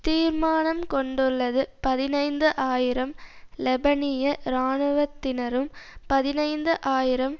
தீர்மானம் கொண்டுள்ளது பதினைந்து ஆயிரம் லெபனிய இராணுவத்தினரும் பதினைந்து ஆயிரம்